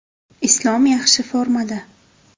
Islom yaxshi formada.